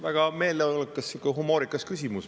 Väga meeleolukas ja sihuke humoorikas küsimus.